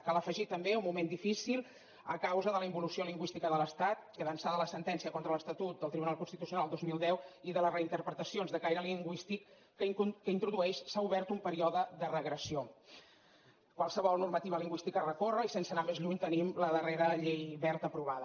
cal afegir també un moment difícil a causa de la involució lingüística de l’estat que d’ençà de la sentència contra l’estatut del tribunal constitucional del dos mil deu i de les reinterpretacions de caire lingüístic que introdueix s’ha obert un període de regressió qualsevol normativa lin güística es recorre i sense anar més lluny tenim la darrera llei wert aprovada